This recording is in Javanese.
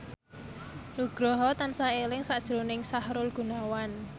Nugroho tansah eling sakjroning Sahrul Gunawan